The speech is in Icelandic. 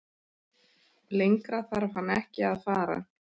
Lengra þarf hann ekki að fara.